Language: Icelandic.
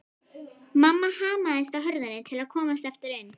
Mamma hamaðist á hurðinni til að komast aftur inn.